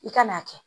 I ka n'a kɛ